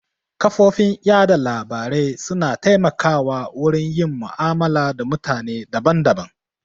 Kafofin yaɗa labarai su na taimaka wa wurin yin mu'amala da mutane daban daban